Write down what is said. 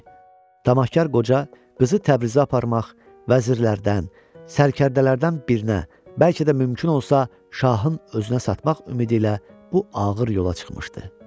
Tamahkar qoca qızı Təbrizə aparmaq, vəzirlərdən, sərkərdələrdən birinə, bəlkə də mümkün olsa şahın özünə satmaq ümidi ilə bu ağır yola çıxmışdı.